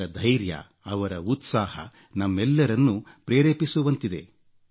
ಅವರ ಧೈರ್ಯ ಅವರ ಉತ್ಸಾಹ ನಮ್ಮೆಲ್ಲರನ್ನೂ ಪ್ರೇರೇಪಿಸುವಂತಿದೆ